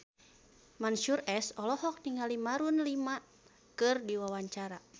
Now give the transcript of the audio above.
Mansyur S olohok ningali Maroon 5 keur diwawancara